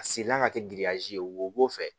A sirila ka kɛ giriyazi ye wo fɛ